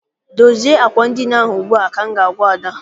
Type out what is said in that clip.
Dozie àkwà edina ahụ ugbua! ka m ga- agwa Ada.